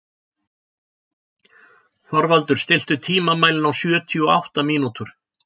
Þorvaldur, stilltu tímamælinn á sjötíu og átta mínútur.